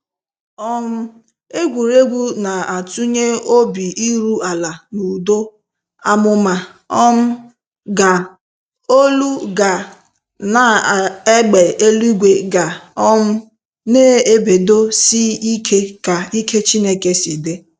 um Egwurugwu na atunye obi iru ala na udo. Àmụ̀mà um ga, olu ga na égbè eluigwe ga um na-ebedo si ike ka ike Chineke si di.